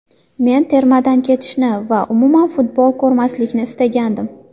Men termadan ketishni va umuman futbol ko‘rmaslikni istagandim.